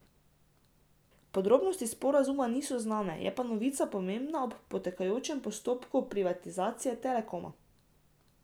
Podrobnosti sporazuma niso znane, je pa novica pomembna ob potekajočem postopku privatizacije Telekoma.